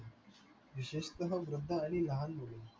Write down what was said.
विशेषतः वृद्ध आणि लहान मुले